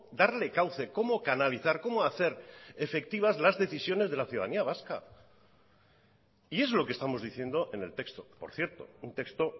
darle cauce cómo canalizar cómo hacer efectivas las decisiones de la ciudadanía vasca y es lo que estamos diciendo en el texto por cierto un texto